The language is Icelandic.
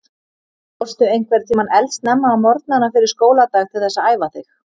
Fórstu einhvern tímann eldsnemma á morgnana fyrir skóladag til þess að æfa þig?